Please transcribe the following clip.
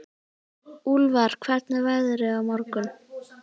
Úlfar, hvernig er veðrið á morgun?